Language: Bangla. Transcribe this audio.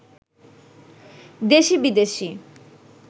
দেশি-বিদেশি